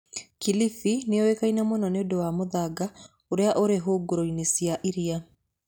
Kilifi nĩ yũĩkaine mũno nĩ ũndũ wa mũthanga ũrĩa ũrĩ hũgũrũrũ-inĩ cia iria.